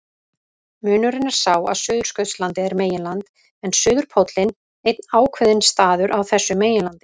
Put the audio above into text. Munurinn er sá að Suðurskautslandið er meginland en suðurpóllinn einn ákveðinn staður á þessu meginlandi.